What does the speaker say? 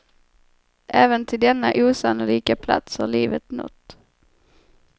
Även till denna osannolika plats har livet nått.